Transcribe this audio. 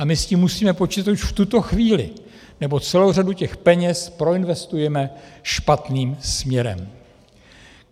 A my s tím musíme počítat už v tuto chvíli, nebo celou řadu těch peněz proinvestujeme špatným směrem.